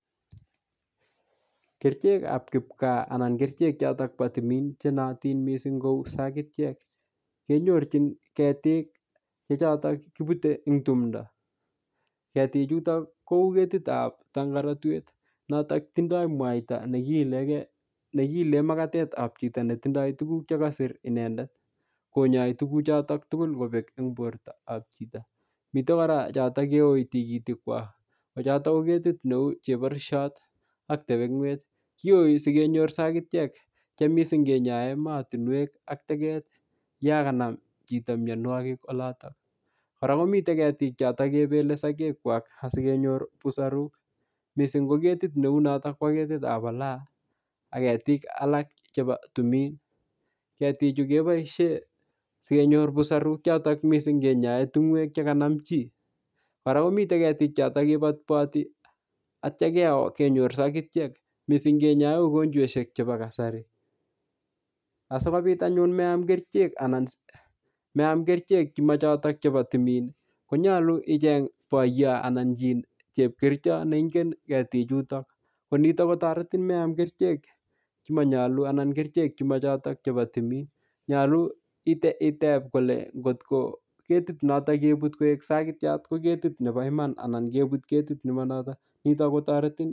Kerichekab kipkaa anan kerichek choto bo timin chenoyotin mising' kou sakityek kenyorchin ketik che chotok kiputei eng' tumdo ketichuto kou ketitab tangaratwet notok tindoi mwaita nekiilee makatetab chito netindoi tukuk chekasir inendet konyoi tukuchotok tukuk kobek eng' bortoab chito mitei kora choto keyoi tikitik kwach ko choto ko ketit neu cheborushot ak tepeng'wet kiyoi sikenyoru sakityek che mising' kenyoe mootinwek ak teket yo kanam chito miyonwokik oloto kora komitei ketik choto kepelei sokek kwak asikenyor busarok mising' ko ketit neu noto bo ketit ab ulaya ak ketik alak chebo timin ketichu keboishe sikenyor busarok chok mising' kenyoe tung'wek chekanam chi kora komite ketik choto kepotpoti atyo keo kenyor sakityek mising' kenyoe ugonjweshek chebo kasari asikobit anyun meam kerichek chemachotok chebo timin konyolu icheng' boyo anan chi chepkericho neingen ketichutok konito kotoretin meam kerichek chemanyolu anan kerichek chemachotok chebo timin nyolu itep kole ngotko ketit noto kebut koek sakityat ko ketit nebo iman anan kebut ketit nemanotok nito kotoretin